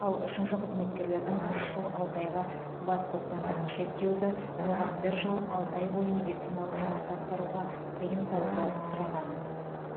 ал үшінші қызметкердің үш жыл алты айға бас бостандығын шектеуді оған бір жыл алты бойы медициналық жұмысты атқаруға тыйым салуды сұраған